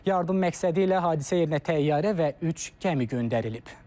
Yardım məqsədilə hadisə yerinə təyyarə və üç gəmi göndərilib.